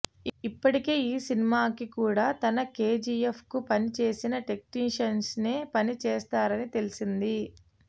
ఇప్పటికే ఈ సినిమాకు కూడా తన కేజీయఫ్ కు పని చేసిన టెక్నిషియన్షే పని చేస్తారని తెలిసిందే